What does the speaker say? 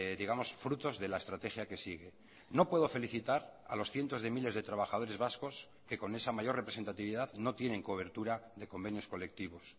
digamos frutos de la estrategia que sigue no puedo felicitar a los cientos de miles de trabajadores vascos que con esa mayor representatividad no tienen cobertura de convenios colectivos